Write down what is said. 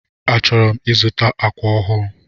Achọrọ m ịzụta ákwà ọhụụ.